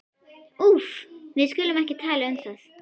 Úff, við skulum ekki tala um það.